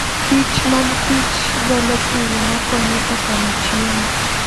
Kich mag Kich golo pil ma konyo e kano chiemo.